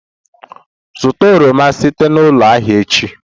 Zụta oroma site na ụlọ ahịa echi!